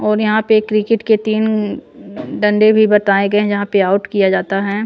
और यहाँ पे क्रिकेट के तीन डंडे भी बताए गए हैं जहाँ पे आउट किया जाता है।